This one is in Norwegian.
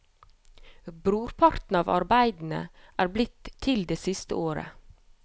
Brorparten av arbeidene er blitt til det siste året.